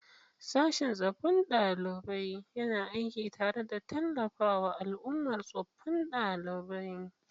Sashin tsofaffin ɗalibai yana aiki tare da tallafawa al'ummar tsofaffin ɗalibai.